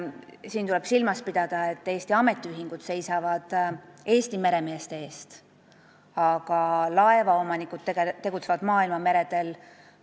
Siin tuleb silmas pidada, et Eesti ametiühingud seisavad Eesti meremeeste eest, aga laevaomanikud tegutsevad maailmameredel.